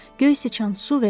Göy sıçan, su ver!